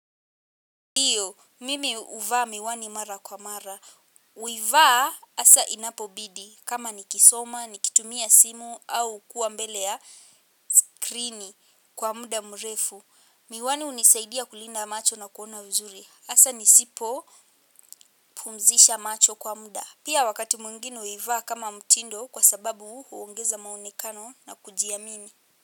Ndio, mimi huvaa miwani mara kwa mara. Huivaa hasa inapobidi kama nikisoma, nikitumia simu au kuwa mbele ya skrini kwa muda mrefu. Miwani hunisaidia kulinda macho na kuona vizuri. Asa nisipo pumzisha macho kwa muda. Pia wakati mwingine huivaa kama mtindo kwa sababu huongeza maonekano na kujiamini.